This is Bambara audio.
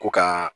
Ko ka